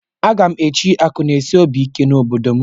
Aga m echi akụnaesiobiike na obodo m